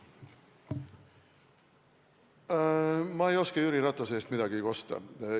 Ma ei oska Jüri Ratase eest midagi kosta.